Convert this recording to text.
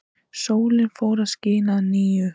Sólin fór að skína að nýju.